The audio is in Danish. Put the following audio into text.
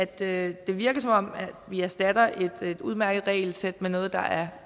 det virker som om vi erstatter et udmærket regelsæt med noget der er